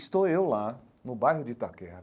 Estou eu lá, no bairro de Itaquera,